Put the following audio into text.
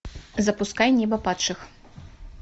запускай небо падших